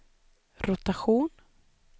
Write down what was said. rotation